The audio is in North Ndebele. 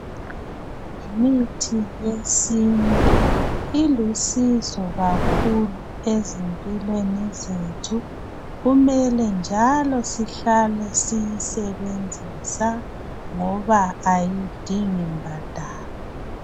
Imithi yesintu ilusizo kakhulu ezimpilweni zethu kumele njalo sihlele siyisebenzisa ngoba kayidingi mbadalo